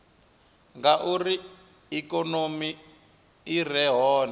ngauri ikonomi i re hone